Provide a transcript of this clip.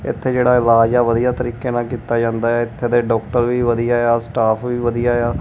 ਇੱਥੇ ਜਿਹੜਾ ਇਹ ਇਲਾਜ ਹੈ ਵਧੀਆ ਤਰੀਕੇ ਨਾਲ ਕੀਤਾ ਜਾਂਦਾ ਹੈ ਇੱਥੇ ਦੇ ਡਾਕਟਰ ਵੀ ਵਧੀਆ ਆ ਸਟਾਫ਼ ਵੀ ਵਧੀਆ ਆ।